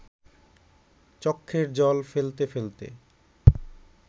চক্ষের জল ফেলতে ফেলতে